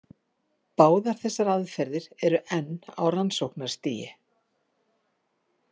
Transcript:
Báðar þessar aðferðir eru enn á rannsóknarstigi.